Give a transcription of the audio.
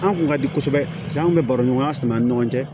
An kun ka di kosɛbɛ an kun bɛ baro ɲɔgɔnya sama an ni ɲɔgɔn cɛ